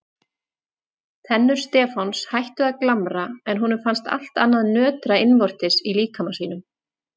Tennur Stefáns hættu að glamra en honum fannst allt annað nötra innvortis í líkama sínum.